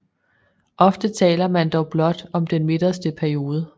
Ofte taler man dog blot om den midterste periode